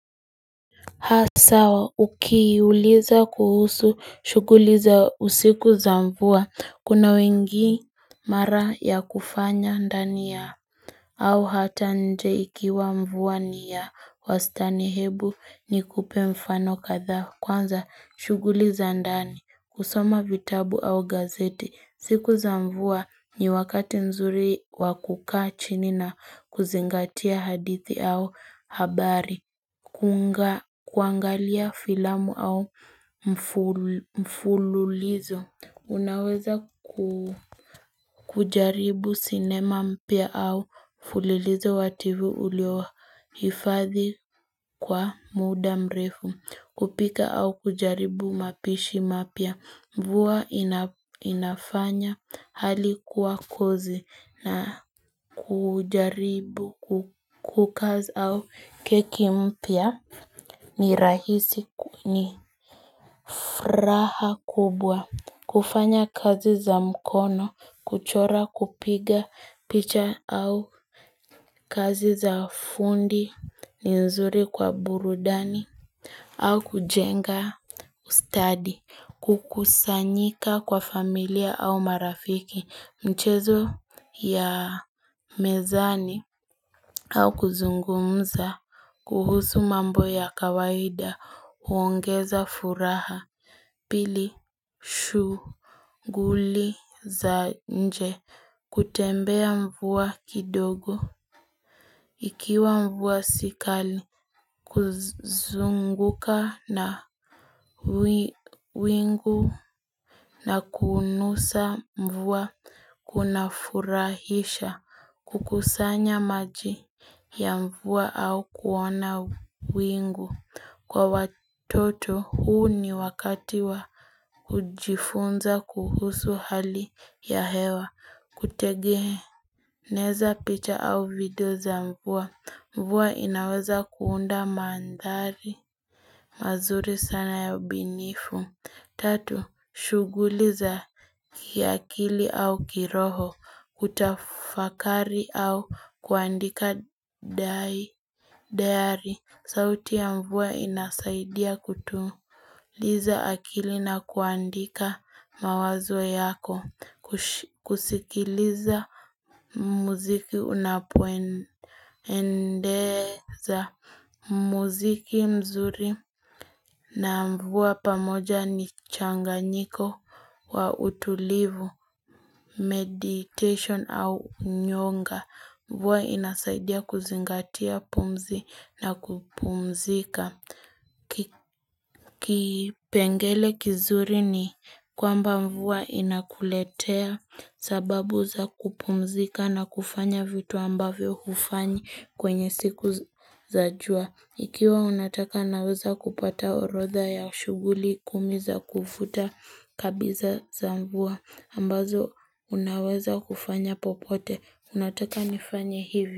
Ha sawa ukii uliza kuhusu shuguliza usiku za mvua kuna wengi mara ya kufanya ndani ya au hata nje ikiwa mvua ni ya wastanihebu ni kupemfano kadha kwanza shuguliza ndani kusoma vitabu au gazete siku za mvua ni wakati nzuri wakukaa chinina kuzingatia hadithi au habari kunga kuangalia filamu au mfululizo Unaweza kujaribu sinema mpya au mfululizo wa tv ulio hifadhi kwa muda mrefu kupika au kujaribu mapishi mapya Mvua inafanya halikuwa kozi na kujaribu kukaz au keki mpya nirahisi ni fraha kubwa kufanya kazi za mkono kuchora kupiga picha au kazi za fundi ni nzuri kwa burudani au kujenga ustadi Kukusanyika kwa familia au marafiki Mchezo ya mezani au kuzungumza kuhusu mambo ya kawaida uongeza furaha pili shu guli za nje kutembea mvua kidogo. Ikiwa mvua sikali kuzunguka na wingu na kunusa mvua kuna furahisha kukusanya maji ya mvua au kuona wingu. Kwa watoto huu ni wakati wa ujifunza kuhusu hali ya hewa kutegehe. Neza picha au video za mvua. Mvua inaweza kuunda mandhari. Mazuri sana ya binifu. Tatu. Shuguliza kiakili au kiroho. Kutafakari au kuandika dai. Dayari, sauti ya mvua inasaidia kutuliza akili na kuandika mawazwa yako, kusikiliza muziki unapendeza, muziki mzuri na mvua pamoja ni changanyiko wa utulivu, meditation au nyonga. Mvuwa inasaidia kuzingatia pumzi na kupumzika. Kipengele kizuri ni kwamba mvua inakuletea sababu za kupumzika na kufanya vitu ambavyo kufanyi kwenye siku za jua. Ikiwa unataka naweza kupata orodha ya shuguli kumi za kufuta kabisa za mvua ambazo unaweza kufanya popote. Nataka nifanye hivyo.